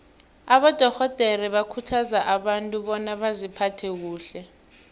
abadorhodere bakhuthaza abantu bona baziphathe kuhle